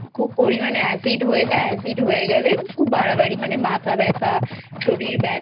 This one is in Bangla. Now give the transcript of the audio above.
খুব পরিমানে Acid হয়ে যায় Acid হয়ে গেলে খুব বাড়াবাড়ি মানে মাথা ব্যথা শরীর ব্যথা